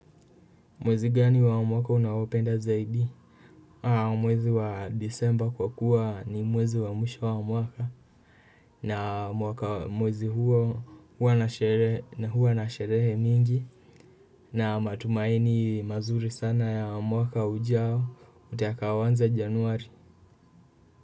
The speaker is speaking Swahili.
Mwezi gani wa mwaka unaopenda zaidi? Mwezi wa disemba kwa kuwa ni mwezi wa mwisho wa mwaka na mwaka mwezi huo huwa na sherehe nyingi. Na matumaini mazuri sana ya mwaka ujao utakaoanza januari.